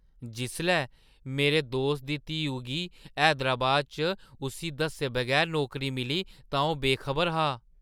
जिसलै मेरे दोस्तै दी धीऊ गी हैदराबाद च उस्सी दस्से बगैर नौकरी मिली तां ओह् बेखबर हा।